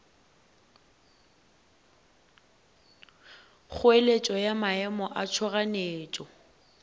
kgoeletšo ya maemo a tšhoganetšo